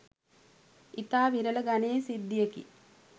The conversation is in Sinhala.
ඉතා විරල ගණයේ සිද්ධියකි.